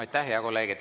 Aitäh, hea kolleeg!